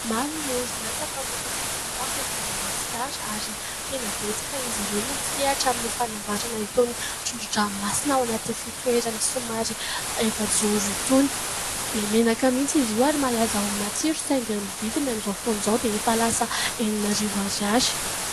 Maro ny orinasa mpamokatra sakafo eto Madagasikara ary tena betsaka izy ireo no misehatra amin'ny fanamboaharana itony trondron-dranomasina ao anaty fitoerany somary efajoro itony. Be menaka mihitsy izy io ary malaza ho matsiro saingy ny vidiny amin'izao fotoana izao dia efa lasa enin'arivo ariary.